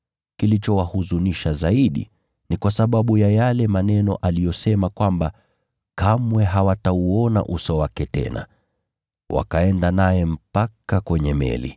Kilichowahuzunisha zaidi ni kwa sababu ya yale maneno aliyosema kwamba kamwe hawatauona uso wake tena. Wakaenda naye mpaka kwenye meli.